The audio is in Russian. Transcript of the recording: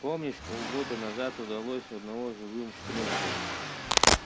помнишь полгода назад удалось одного живым в плен взять